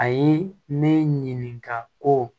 Ayi ne ɲininka ko